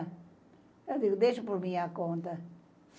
Eu digo, deixa por minha conta.